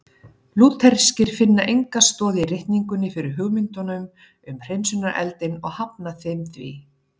Lútherskir finna enga stoð í ritningunni fyrir hugmyndunum um hreinsunareldinn og hafna þeim því.